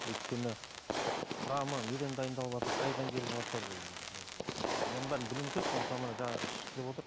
өйткені құрамы неден дайындалыватыр қайдан келіватыр оның бәрін білуіміз керек қой мысалы міне жаңа ішті деп отыр